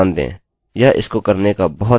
यह विशिष्ट विजिटर्स नहीं गिनता